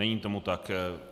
Není tomu tak.